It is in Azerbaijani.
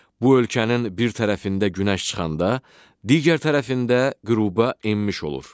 Bu ölkənin bir tərəfində günəş çıxanda, digər tərəfində qüruba enmiş olur.